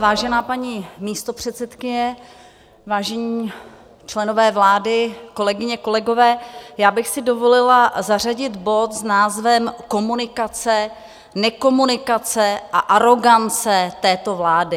Vážená paní místopředsedkyně, vážení členové vlády, kolegyně, kolegové, já bych si dovolila zařadit bod s názvem Komunikace - nekomunikace a arogance této vlády.